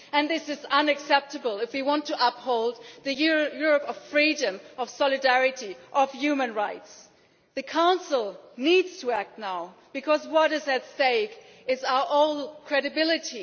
This is unacceptable if we want to uphold the Europe of freedom, solidarity and human rights. The Council needs to act now because what is at stake is our own credibility.